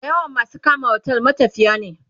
da yawan masu kama otel matafiya ne